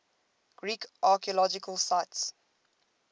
greek archaeological sites